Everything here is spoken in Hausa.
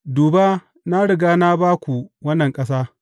Duba na riga na ba ku wannan ƙasa.